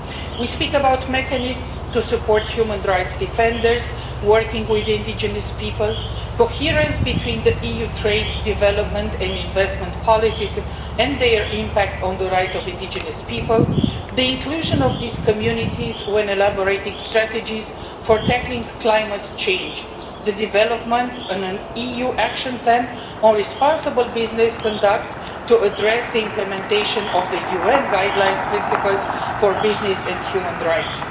We speak about mechanisms to support human rights defenders working with indigenous people, coherence between the EU's trade, development and investment policies and their impact on the rights of indigenous people, the inclusion of these communities when elaborating strategies for tackling climate change, and the development of an EU action plan on responsible business conduct to address the implementation of the UN Guiding Principles on Business and Human Rights.